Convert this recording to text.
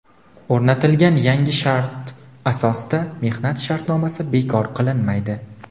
O‘rnatilgan yangi shart asosida mehnat shartnomasi bekor qilinmaydi.